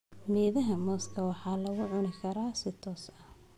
Midhaha mooska waxaa lagu cuni karaa si toos ah.